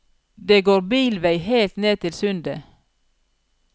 Det går bilvei helt ned til sundet.